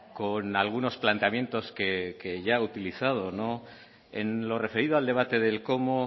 con algunos planteamientos que ya ha utilizado en lo referido al debate del cómo